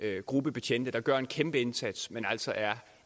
gruppe betjente der gør en kæmpe indsats men som altså er